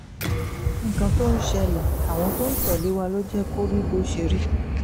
nǹkan tó ń ṣẹlẹ̀ àwọn tó ń tẹ̀lé wa ló jẹ́ kó rí bó ṣe rí